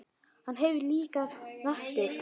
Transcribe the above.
Hann heyrir líka raddir.